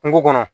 Kungo kɔnɔ